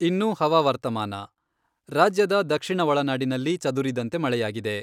ಇನ್ನು ಹವಾವರ್ತಮಾನ, ರಾಜ್ಯದ ದಕ್ಷಿಣ ಒಳನಾಡಿನಲ್ಲಿ ಚದುರಿದಂತೆ ಮಳೆಯಾಗಿದೆ.